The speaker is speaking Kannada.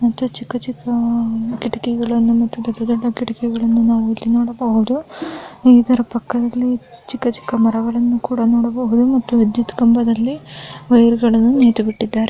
ಮತ್ತು ಚಿಕ್ಕ ಚಿಕ್ಕ ಕಿಡಕಿಗಳು ದೊಡ್ಡ ದೊಡ್ಡ ಕಿಡಕಿಗಳನ್ನು ನೋಡಬಹುದು ಇದರ ಪಕ್ಕದಲ್ಲಿ ಚಿಕ್ಕ ಚಿಕ್ಕ ಮರಗಳು ನೋಡಬಹುದು ಮತ್ತು ವಿದ್ಯುತ್ ಕಂಬದಲ್ಲಿ ವೈರ್‌ಗಳನ್ನು ಬಿಟ್ಟಿದ್ದಾರೆ .